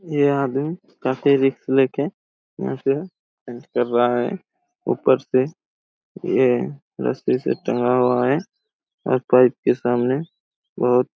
यह आदमी काफी रिस्क ले के यहाँ से स्टंट कर रहा हैं ऊपर से ये रसी से टंगा हुआ हैं और पाइप के सामने बहुत--